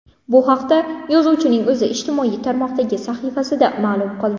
Bu haqda yozuvchining o‘zi ijtimoiy tarmoqdagi sahifasida ma’lum qildi .